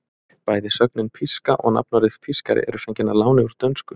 Bæði sögnin píska og nafnorðið pískari eru fengin að láni úr dönsku.